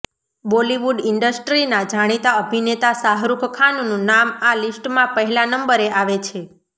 બોલીવુડ ઇન્ડસ્ટ્રીના જાણીતા અભિનેતા શાહરૂખ ખાનનું નામ આ લીસ્ટમાં પહેલા નંબરે આવે છે